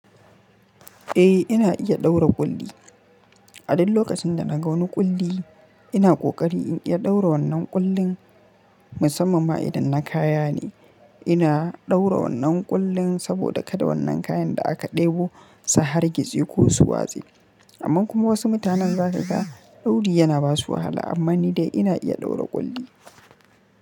Eh ina iya ɗaura ƙulli. A duk lokacin da na gan wani ƙulli ina ƙoƙari in iya ɗaura wannan ƙullin musamman ma idan na kaya ne. Ina ɗaura wannan ƙullin saboda kada wannan kayan da aka ɗebo su hargitse ko su watse. Amma kuma wasu mutanen za ka ga dauri yana basu wahala amma ni dai ina iya ɗaura ƙulli.